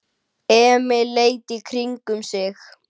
Emil leit í kringum sig.